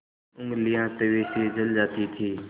ऊँगलियाँ तवे से जल जाती थीं